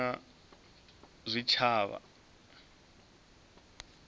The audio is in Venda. ine ya mona na zwitshavha